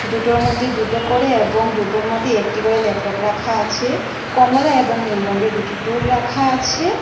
দুটোর মধ্যে দুটো করে এবং দুটোর মধ্যে একটি করে ল্যাপটপ রাখা আছে কমলা এবং নীল রঙের দুটি টুল রাখা আছে।